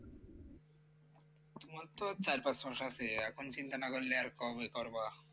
তোমার তো আর চার পাঁচ মাস আছে এখন চিন্তা না করলে আর কবে করবা